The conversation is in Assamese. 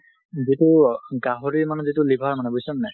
যিটো গাহৰিৰ মানে যিটো liver মানে, বুইচা নাই?